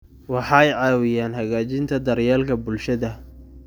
Waxay caawiyaan hagaajinta daryeelka bulshada.